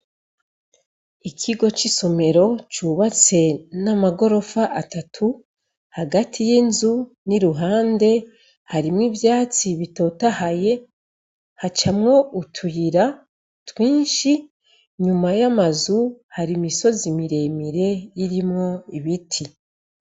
Ikigo c' isomero cubatse n' amagorofa atatu hagati y' inzu n' iruhande harimwo ivyatsi bitotahaye hacamwo utuyira twinshi inyuma y' amazu hari imisozi mire mire irimwo ibiti.